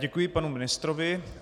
Děkuji panu ministrovi.